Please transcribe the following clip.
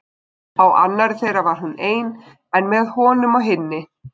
Á annarri þeirra var hún ein en með honum á hinni.